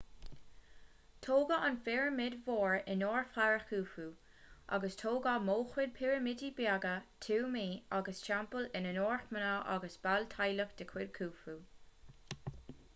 tógadh an phirimid mhór in onóir fharó khufu agus tógadh móchuid pirimidí beaga tuamaí agus teampaill in onóir mná agus baill teaghlaigh de chuid khufu